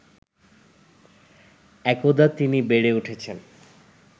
একদা তিনি বেড়ে উঠেছেন